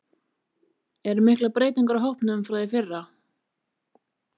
Eru miklar breytingar á hópnum frá því í fyrra?